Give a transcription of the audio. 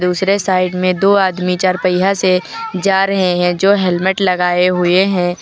दूसरे साइड में दो आदमी चार पहिया से जा रहे हैं जो हेलमेट लगाए हुए हैं।